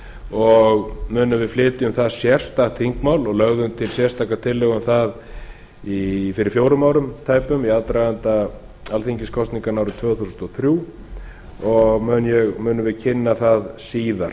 og munum við flytja um það sérstakt þingmál og lögðum til sérstakar tillögur um það fyrir fjórum árum tæpum í aðdraganda alþingiskosninganna árið tvö þúsund og þrjú og munum við kynna það síðar